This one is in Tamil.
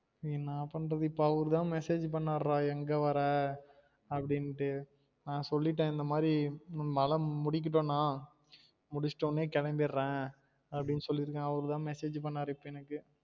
ஏன்னா பண்றது இப்ப அவுரு தான் message பண்ணாரு டா எங்க வர அப்டின்ட்டு நான் சொல்லிட்டன் இந்த மாறி மழ முடிக்கட்டும் நா முடிச்ட உடனே கேலம்பிரன் அப்டின்னு சொல்லிருக்கன் அவரு தான் message பண்ணாரு இப்ப எனக்கு